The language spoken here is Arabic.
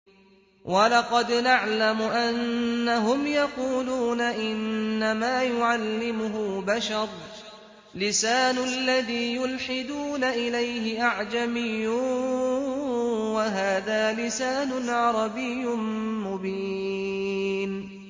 وَلَقَدْ نَعْلَمُ أَنَّهُمْ يَقُولُونَ إِنَّمَا يُعَلِّمُهُ بَشَرٌ ۗ لِّسَانُ الَّذِي يُلْحِدُونَ إِلَيْهِ أَعْجَمِيٌّ وَهَٰذَا لِسَانٌ عَرَبِيٌّ مُّبِينٌ